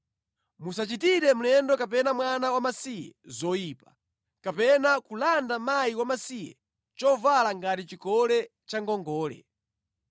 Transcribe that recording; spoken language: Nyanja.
Musachitire mlendo kapena mwana wamasiye zoyipa, kapena kulanda mkazi wamasiye chovala ngati chikole cha ngongole.